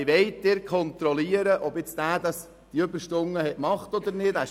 Wie wollen Sie kontrollieren, ob er diese Überstunden tatsächlich geleistet hat?